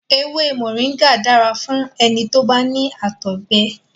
Èwé Moringa dára fún ẹni tó bá ní àtọ̀gbẹ.